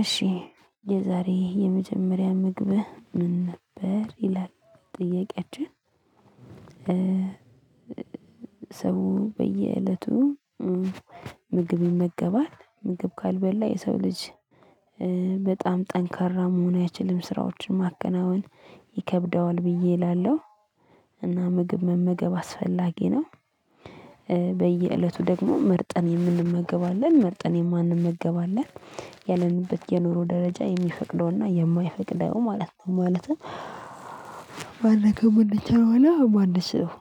እሺ የዛሬ የመጀመሪያ ምግብህ ምን ነበር ይላል? ጥያቄያችን ሰው በየእለቱ ምግብ ይመገባል ምግብ ካልበላ የሰው ልጅ በጣም ጠንካራ መሆን አይችልም ስራዎችን ማከናወን ይከብደዋል ብዬ እላለሁ። እና ምግብ መመገብ አስፈላጊ ነው። በየእለቱ ደግሞ መርጠን የምንመገብ አለን መርጠን የማንመገብ አለን ያለንበት የኑሮ ደረጃ የሚፈቅደውና የማይፈቅደው ማለት ነው። ማለትም መመገብ ምንችልው እና ማንችለው።